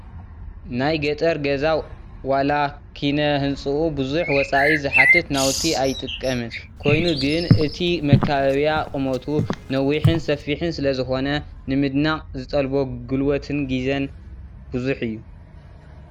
ናይ ገጠር ገዛ ዋላ ኪነ ህንፅኡ ብዙሕ ወፃኢ ዝሓትት ናውቲ ኣይጥቀምን፡፡ ኮይኑ ግን እቲ መካበቢያ ቁመቱ ነዊሕን ሰፊሕን ስለዝኾነ ንምንዳቕ ዝጠልቦ ጉልበትን ግዜን ብዙሕ እዩ፡፡